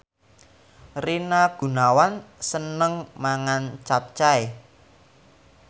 Rina Gunawan seneng mangan capcay